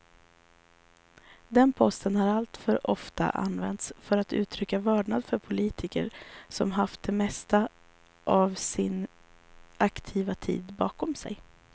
Den posten har alltför ofta använts för att uttrycka vördnad för politiker som haft det mesta av sin aktiva tid bakom sig.